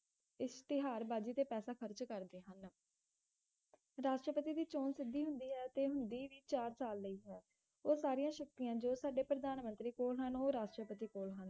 ਇਸ਼ਤਿਹਾਰ ਬਾਜੀ ਤੇ ਪੈਸਾ ਖਰਚ ਕਰਦੇ ਹਨ ਰਾਸ਼ਟਰਪਤੀ ਦੀ ਚੋਂਣ ਸਿਧਿ ਹੁੰਦੀ ਹੈ ਤੇ ਹੁੰਦੀ ਵੀ ਚਾਰ ਸਾਲ ਲਈ ਹੈ ਉਹ ਸਾਰੀਆਂ ਸ਼ਕਤੀਆਂ ਜੋ ਸਾਡੇ ਪ੍ਰਧਾਨਮੰਤਰੀ ਕੋਲ ਹੋਣ ਉਹ ਰਾਸ਼ਟਰਪਤੀ ਕੋਲ ਹਨ